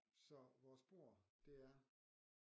Så vores bord det er